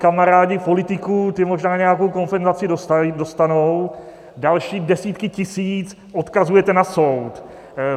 Kamarádi politiků, ti možná nějakou kompenzaci dostanou, další desítky tisíc odkazujete na soud.